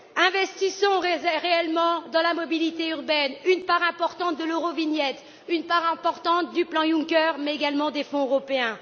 Investissons réellement dans la mobilité urbaine une part importante de l'eurovignette, une part importante du plan Juncker mais également des fonds européens.